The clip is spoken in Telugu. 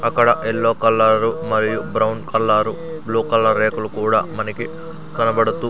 అక్కడ ఎల్లో కలరు మరియు బ్రౌన్ కలరు బ్లూ కలర్ రేకులు కూడా మనకి కనబడుతూ--